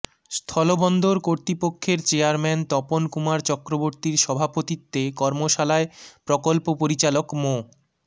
স্থলবন্দর কর্তৃপক্ষের চেয়ারম্যান তপন কুমার চক্রবর্ত্তীর সভাপতিত্বে কর্মশালায় প্রকল্প পরিচালক মো